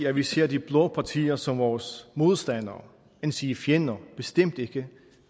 at vi ser de blå partier som vores modstandere endsige fjender bestemt ikke